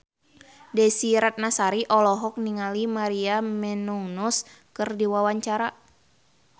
Desy Ratnasari olohok ningali Maria Menounos keur diwawancara